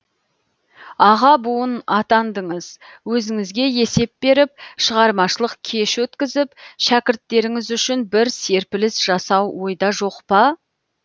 аға буын атандыңыз өзіңізге есеп беріп шығармашылық кеш өткізіп шәкірттеріңіз үшін бір серпіліс жасау ойда жоқ па